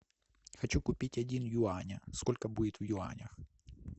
хочу купить один юаня сколько будет в юанях